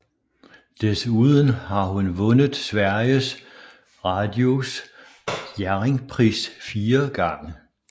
Desuden har hun vundet Sveriges Radios Jerringpris fire gange